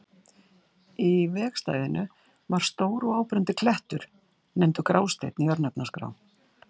Í vegstæðinu var stór og áberandi klettur, nefndur Grásteinn í örnefnaskrá.